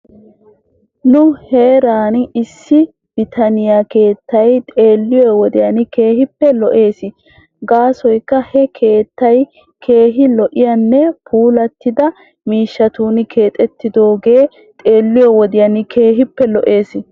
Nu heeran issi bitaniyaa keettay xeelliyoo wodiyan keehippe lo'es gaasoykka he keettah keehi lo'iyaanne puulattida miishshatun keexettidaagee xeelliyoo wodiyn keehippe lo'es.